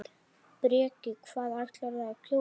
Breki: Hvað ætlarðu að kjósa?